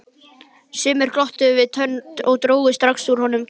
Sumir glottu við tönn og drógu strax úr honum kjarkinn.